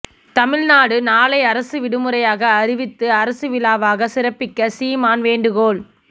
தமிழ்நாடு நாளை அரசு விடுமுறையாக அறிவித்து அரசு விழாவாக சிறப்பிக்க சீமான் வேண்டுகோள்